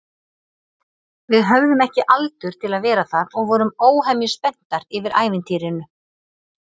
Við höfðum ekki aldur til að vera þar og vorum óhemju spenntar yfir ævintýrinu.